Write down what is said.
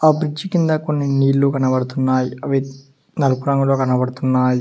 ఆ బ్రిడ్జి కింద కొన్ని నీళ్లు కనబడుతున్నాయి అవి నలుపు రంగులో కనబడుతున్నాయి.